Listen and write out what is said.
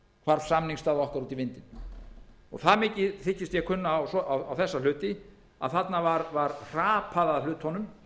hvarf samningsstaða okkar út í vindinn það mikið þykist ég kunna á þessa hluti að þarna var hrapað að hlutunum